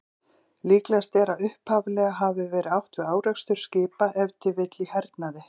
Líklegast er að upphaflega hafi verið átt við árekstur skipa, ef til vill í hernaði.